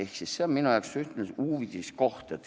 See on minu jaoks ühtlasi uudiskoht.